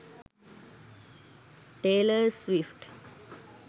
taylor swift